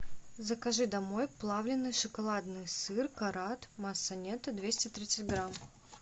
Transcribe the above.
закажи домой плавленный шоколадный сыр карат масса нетто двести тридцать грамм